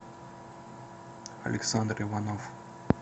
александр иванов